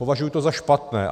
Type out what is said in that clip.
Považuji to za špatné.